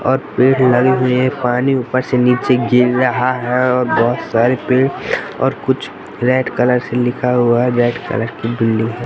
और पेड लगे हुए है पानी ऊपर से नीचे गिर रहा है और बहोत सारे पेड़ और कुछ रेड कलर से लिखा हुआ है रेड कलर की बिल्डिंग --